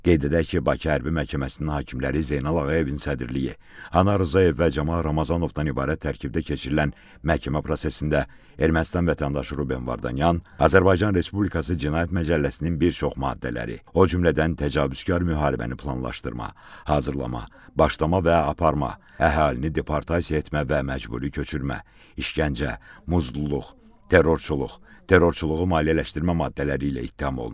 Qeyd edək ki, Bakı Hərbi Məhkəməsinin hakimləri Zeynal Ağayevin sədrliyi, Anar Rzayev və Camal Ramazanovdan ibarət tərkibdə keçirilən məhkəmə prosesində Ermənistan vətəndaşı Ruben Vardanyan Azərbaycan Respublikası Cinayət Məcəlləsinin bir çox maddələri, o cümlədən təcavüzkar müharibəni planlaşdırma, hazırlama, başlama və aparma, əhalini deportasiya etmə və məcburi köçürmə, işgəncə, muzdluq, terrorçuluq, terrorçuluğu maliyyələşdirmə maddələri ilə ittiham olunur.